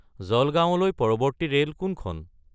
জলগাৱঁলৈ পৰৱৰ্তী ৰে'ল কোনখন